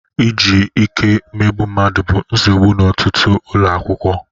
Iji ike emegbu mmadụ bụ nsogbu n'ọtụtụ ụlọ akwụkwọ